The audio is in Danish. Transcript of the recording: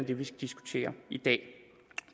det vi skal diskutere i dag